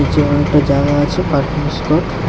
এরম একটা জায়গা আছে পার্কিং স্পট ।